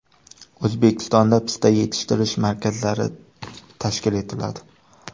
O‘zbekistonda pista yetishtirish markazlari tashkil etiladi.